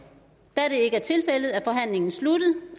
da det ikke er tilfældet er forhandlingen sluttet